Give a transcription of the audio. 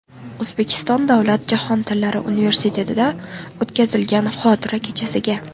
O‘zbekiston davlat jahon tillari universitetida o‘tkaziladigan xotira kechasiga.